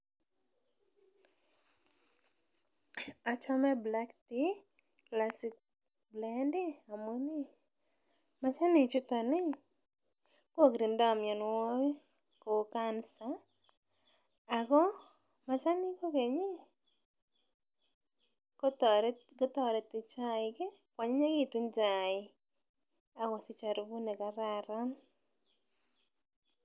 Achome black tea classic blend ih amun machanik chuton ih kokirindo mionwogik kou Cancer ako machanik kokeny ih kotoreti chaik ih koanyinyekitun chaik akosich aruput nekararan